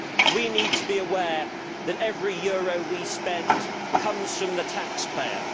We need to be aware that every euro we spend comes from the taxpayer.